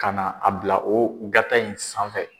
Ka na a bila o gata in sanfɛ.